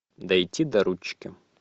дойти до ручки